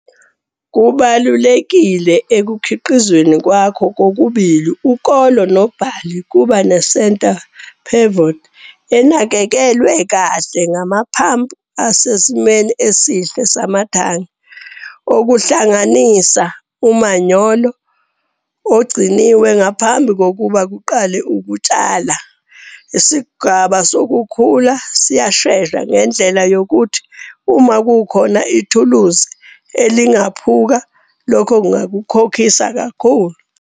Kubalulekile ekukhiqizaweni kwakho kokubili ukolo nobhali ukuba ne-centre pivot enakekelwe kahle ngamaphampu asesimweni esihle samathange okuhlanganisa umanyolo agciniwe ngaphambi kokuba kuqale ukutshala. Isigaba sokukhula siyashesha ngendlela yokuthi uma kukhona ithuluzi elingephuka lokho kungakukhokhisa kakhulu.